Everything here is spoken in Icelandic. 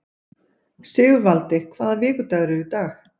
Sigurvaldi, hvaða vikudagur er í dag?